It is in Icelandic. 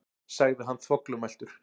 sagði hann þvoglumæltur.